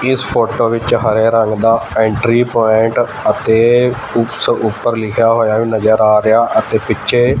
ਇਸ ਫੋਟੋ ਵਿੱਚ ਹਰੇ ਰੰਗ ਦਾ ਐਂਟਰੀ ਪੁਆਇੰਟ ਅਤੇ ਕੁੱਛ ਉੱਪਰ ਲਿਖਿਆ ਹੋਇਆ ਵੀ ਨਜ਼ਰ ਆ ਰਿਹਾ ਅਤੇ ਪਿੱਛੇ--